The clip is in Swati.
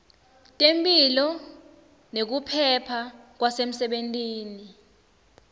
temphilo nekuphepha kwasemsebentini